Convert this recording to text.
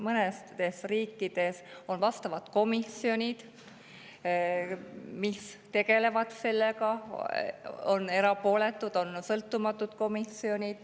Mõnes riigis on vastavad komisjonid, mis sellega tegelevad – erapooletud, sõltumatud komisjonid.